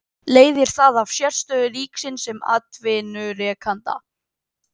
Leiðir það af sérstöðu ríkisins sem atvinnurekanda.